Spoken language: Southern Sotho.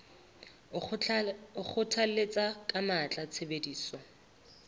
o kgothalletsa ka matla tshebediso